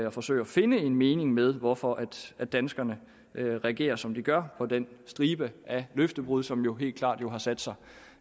og forsøge at finde en mening med hvorfor danskerne reagerer som de gør på den stribe af løftebrud som jo helt klart har sat sig